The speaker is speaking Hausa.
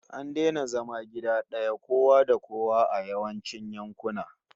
An daina zama gida daya kowa da kowa a yawancin yankuna